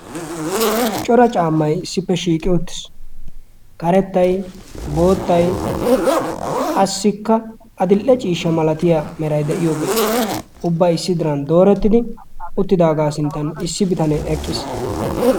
cora caammay issippe shiiqi uttiis karettay boottay qassikka adil''e ciishsha malatiya meray de'iyoobeetii ubbay issi diran doorettidi uttidaagaa sinttan issi bitanee eqqiis